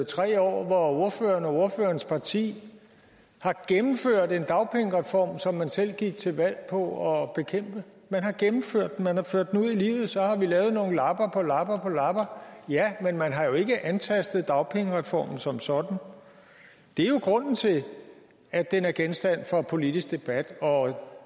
tre år hvor ordføreren og ordførerens parti har gennemført en dagpengereform som man selv gik til valg på at bekæmpe man har gennemført den man har ført den ud i livet og så har vi lavet nogle lapper og sat lap på lap ja men man har jo ikke antastet dagpengereformen som sådan det er grunden til at den er genstand for politisk debat og